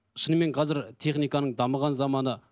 шынымен қазір техниканың дамыған заманы